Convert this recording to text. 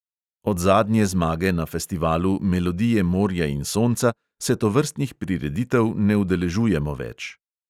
Od zadnje zmage na festivalu melodije morja in sonca se tovrstnih prireditev ne udeležujemo več.